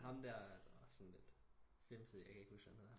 Ham der der var sådan lidt fimset jeg kan ikke huske hvad han hedder